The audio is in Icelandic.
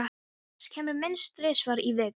Agnes kemur minnst þrisvar í viku.